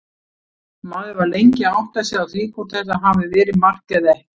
Maður var lengi að átta sig á því hvort þetta hafi verið mark eða ekki.